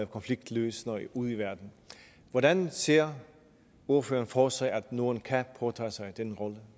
konfliktløser ude i verden hvordan ser ordføreren for sig at norden kan påtage sig den rolle